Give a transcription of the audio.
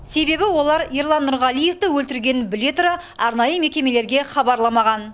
себебі олар ерлан нұрғалиевті өлтіргенін біле тұра арнайы мекемелерге хабарламаған